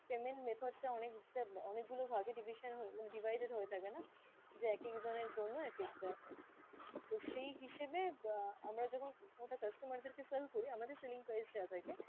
payment method টা অনেকটা অনেক গুলো ভাগে division হয়ে, divided হয়ে থাকে না, যে এক এক জনের জন্য এক এক টা। তো সেই হিসেবে আহ আমরা যখন phone টা customer দের কে sell করি আমাদের selling price যা থাকে,